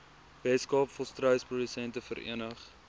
weskaap volstruisprodusente vereniging